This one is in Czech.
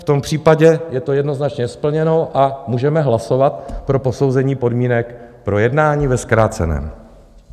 V tom případě je to jednoznačně splněno a můžeme hlasovat pro posouzení podmínek pro jednání ve zkráceném.